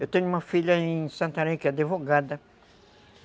Eu tenho uma filha em Santarém, que é advogada.